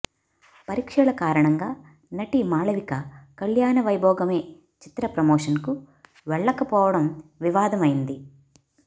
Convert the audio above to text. పరీక్షల కారణంగా నటి మాళవిక కళ్యాణ వైభోగమే చిత్ర ప్రమోషన్కు వెళ్లకపోవడం వివాదం అయింది